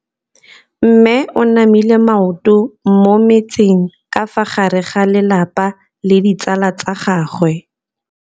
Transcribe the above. Mme o namile maoto mo mmetseng ka fa gare ga lelapa le ditsala tsa gagwe.